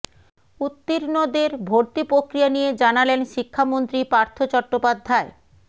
উত্তীর্ণদের ভর্তি প্রক্রিয়া নিয়ে জানালেন শিক্ষামন্ত্রী পার্থ চট্টোপাধ্যায়